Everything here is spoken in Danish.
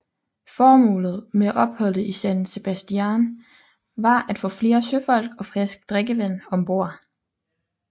Formålet med opholdet i San Sebastián var at få flere søfolk og frisk drikkevand ombord